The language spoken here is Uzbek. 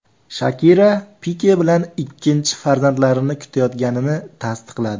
Shakira Pike bilan ikkinchi farzandlarini kutayotganini tasdiqladi.